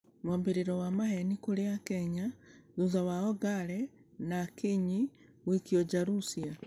Mwambĩrĩro wa maheni kũrĩ akenya thitha wa ongare na akinyi gũikio nja russia.